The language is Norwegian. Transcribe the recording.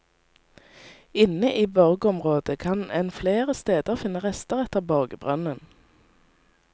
Inne i borgområdet kan en flere steder finne rester etter borgbrønnen.